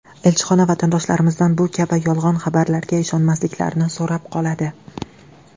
Elchixona vatandoshlarimizdan bu kabi yolg‘on xabarlarga ishonmasliklarini so‘rab qoladi.